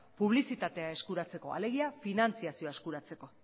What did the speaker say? publizitatea eskuratzeko alegia finantziazioa eskuratzeko